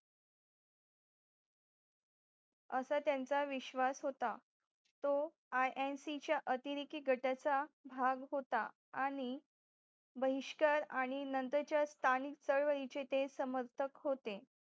असं त्यांचा विश्वास होता तो INC च्या अतिरेकी गटचा भाग होता आणि बहिष्कार आणि नंतरचे त्राण चळवळीचे ते समर्थक होते